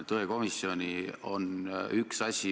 Kaja Kallas, palun, järgmine küsimus!